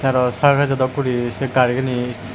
arow sarkejo dok guri sey gari anit.